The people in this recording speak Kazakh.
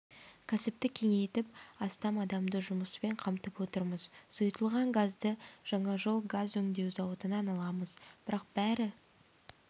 кәсіпті кеңейтіп астам адамды жұмыспен қамтып отырмыз сұйытылған газды жаңажол газ өңдеу зауытынан аламыз бірақ бәрі